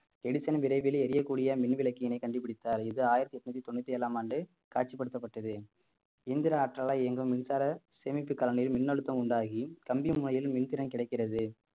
Edison விரைவில் எரியக்கூடிய மின்விளக்கினை கண்டுபிடித்தார் இது ஆயிரத்தி எட்நூத்தி தொண்ணூத்தி ஏழாம் ஆண்டு காட்சிப்படுத்தப்பட்டது இயந்திர ஆற்றலால் இயங்கும் மின்சார சேமிப்பு கலனியில் மின்னழுத்தம் உண்டாகி மின் திறன் கிடைக்கிறது